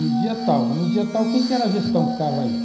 No dia tal, no dia tal, quem que era a gestão que estava aí?